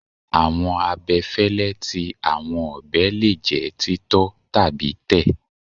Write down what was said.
Awọn abẹfẹlẹ ti awọn ọbẹ le jẹ titọ tabi tẹ